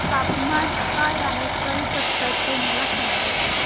तापमान काय आहे कलकत्ता चे मला सांगा